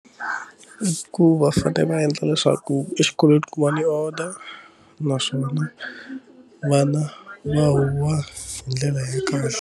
Ku va fanele va endla leswaku exikolweni ku va ni order naswona vana va huwa hi ndlela ya kahle.